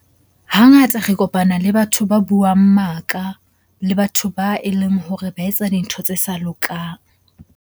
Hangata re kopana le batho ba buang maka le batho ba e leng hore ba etsa dintho tse sa lokang.